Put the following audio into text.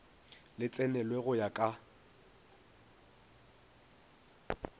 le tsenelwe go ya ka